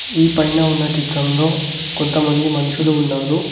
ఈ పైన ఉన్న చిత్రంలో కొంతమంది మనుషులు ఉన్నారు.